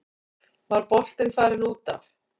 Var boltinn farinn út af?